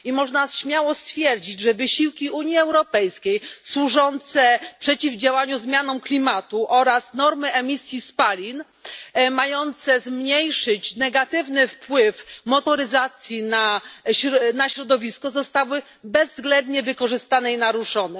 Można śmiało stwierdzić, że wysiłki Unii Europejskiej służące przeciwdziałaniu zmianie klimatu oraz normy emisji spalin mające zmniejszyć negatywny wpływ motoryzacji na środowisko zostały bezwzględnie zaprzepaszczone i naruszone.